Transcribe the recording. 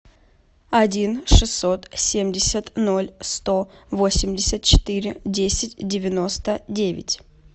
один шестьсот семьдесят ноль сто восемьдесят четыре десять девяносто девять